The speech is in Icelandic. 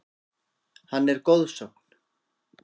Hann er goðsögn.